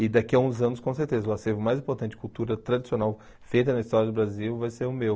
E daqui a uns anos, com certeza, o acervo mais importante de cultura tradicional feita na história do Brasil vai ser o meu.